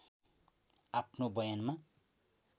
आफ्नो बयानमा